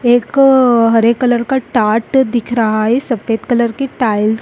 एक हरे कलर का टार्ट दिख रहा है सफेद कलर की टाइल्स --